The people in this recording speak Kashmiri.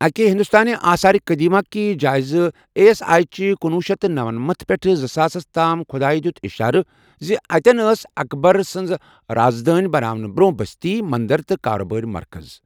اكہِ ہندوستٲنہِ آثارِ قدیمہٕ كہِ جٲیزٕ اے ایس آیہ چہِ کنۄہ شیتھ نمنمت پیٹھہٕ زٕساس تام چہِ خٗدایہ دِیوٗت اِشارٕ زِ اتین ٲسہِ ہے اكبر سںدِ رازدٲن بناونہٕ برونہہ بستی ، مندر تہٕ كاربٲرِ مركز